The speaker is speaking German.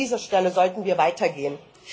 An dieser Stelle sollten wir weitergehen.